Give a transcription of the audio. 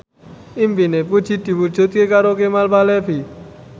impine Puji diwujudke karo Kemal Palevi